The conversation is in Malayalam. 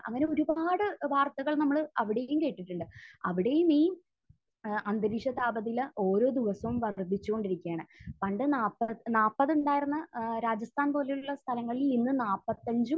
അങ്ങനെ ഒരുപാട് വാർത്തകൾ നമ്മൾ അവിടെയും കേട്ടിട്ടുണ്ട്. അവിടെയും ഈ ഏഹ് അന്തരീക്ഷ താപനില ഓരോ ദിവസവും വർധിച്ചുകൊണ്ടിരിക്കുകയാണ്. പണ്ട് നാല്പത്...നാല്പത് ഉണ്ടായിരുന്ന ഏഹ് രാജസ്ഥാൻ പോലെയുള്ള സ്ഥലങ്ങളിൽ ഇന്ന് നാല്പത്തിയഞ്ചും